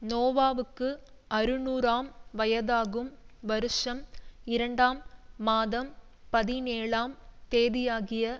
நோவாவுக்கு அறுநூறாம் வயதாகும் வருஷம் இரண்டாம் மாதம் பதினேழாம் தேதியாகிய